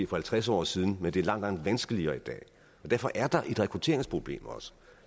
for halvtreds år siden men det er langt langt vanskeligere i dag og derfor er der også et rekrutteringsproblem